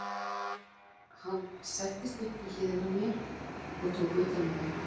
Hann settist upp við hliðina á mér og tók utan um mig.